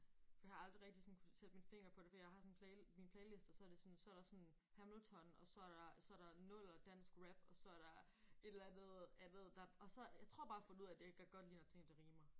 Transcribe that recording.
For jeg har aldrig rigtig sådan kunne sætte min finger på det. Fordi jeg har sådan en mine playlister så er det sådan så er der sådan Hamilton og så er der og så er der nuller dansk rap og så er der et eller andet andet der og så jeg tror bare jeg har fundet ud af jeg kan godt lide når ting de rimer